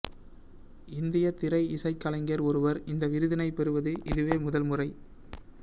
இந்திய திரை இசைக் கலைஞர் ஒருவர் இந்த விருதினைப் பெறுவது இதுவே முதல்முறை